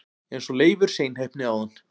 eins og Leifur seinheppni áðan!